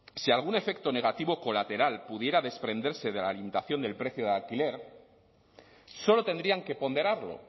si algún efecto negativo colateral pudiera desprenderse de la del precio del alquiler solo tendrían que ponderarlo